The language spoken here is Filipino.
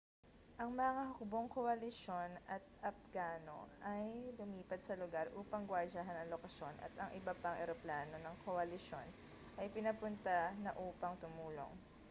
ang mga hukbong koalisyon at apgano ay lumipat sa lugar upang guwardiyahan ang lokasyon at ang iba pang eroplano ng koalisyon ay pinapunta na upang tumulong